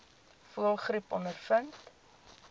voëlgriep ondervind